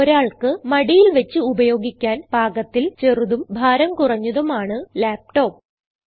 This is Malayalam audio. ഒരാൾക്ക് മടിയിൽ വച്ച് ഉപയോഗിക്കാൻ പാകത്തിൽ ചെറുതും ഭാരം കുറഞ്ഞതുമാണ് ലാപ്ടോപ്പ്